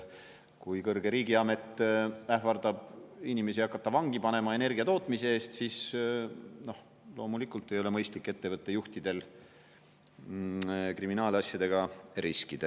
Kui kõrge riigiamet ähvardab inimesi hakata vangi panema energia tootmise eest, siis loomulikult ei ole mõistlik ettevõtte juhtidel kriminaalasjadega riskida.